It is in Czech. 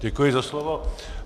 Děkuji za slovo.